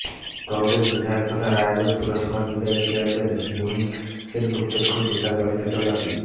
কংগ্রেস বিধায়ক তথা রায়গঞ্জ পুরসভার বিদায়ী চেয়ারম্যান মোহিত সেনগুপ্তের খোঁজে তাঁর বাড়িতে তল্লাশি